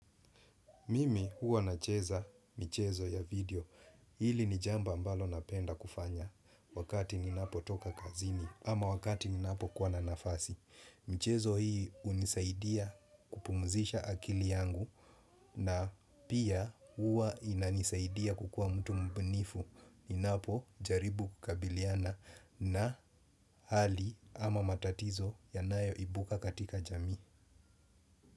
Mimi huwa nacheza michezo ya video. Hili ni jamba mbalo napenda kufanya wakati ninapo toka kazini ama wakati ninapo kuwa na nafasi. Mchezo hii hunisaidia kupumzisha akili yangu na pia huwa inanisaidia kukua mtu mbunifu ninapo jaribu kukabiliana na hali ama matatizo yanayo ibuka katika jami.